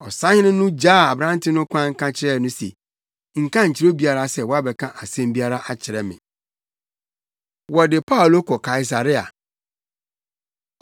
Ɔsafohene no gyaa aberante no kwan ka kyerɛɛ no se, “Nka nkyerɛ obiara sɛ woabɛka asɛm biara akyerɛ me.” Wɔde Paulo Kɔ Kaesarea